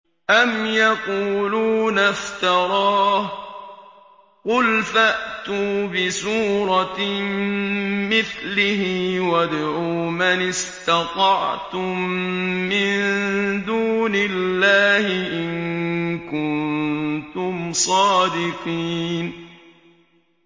أَمْ يَقُولُونَ افْتَرَاهُ ۖ قُلْ فَأْتُوا بِسُورَةٍ مِّثْلِهِ وَادْعُوا مَنِ اسْتَطَعْتُم مِّن دُونِ اللَّهِ إِن كُنتُمْ صَادِقِينَ